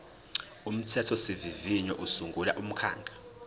umthethosivivinyo usungula umkhandlu